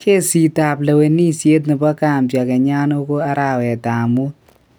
Kesit ap lewenishet nepo Gambia kenyan oko arawet ap mut